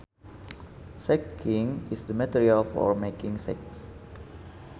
Sacking is the material for making sacks